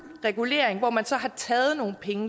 regulering hvorfra man så har taget nogle penge